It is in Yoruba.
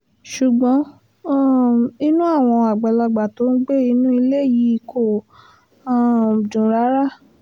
ṣùgbọ́n um inú àwọn àgbàlagbà tó ń gbé inú ilé yìí kò um dùn rárá